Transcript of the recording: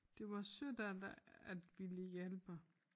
Det var sødt af dig at ville hjælpe